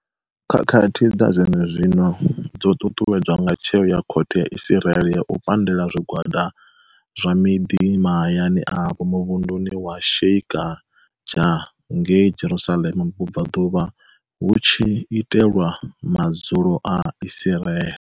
Khakhathi dza zwenezwino dzo ṱuṱuwedzwa nga tsheo ya khothe ya Israeli ya u pandela zwi gwada zwa miḓa mahayani avho muvhunduni wa Sheikha Jah ngei Jerusalema vhubvaḓuvha hu tshi itelwa madzulo a Israeli.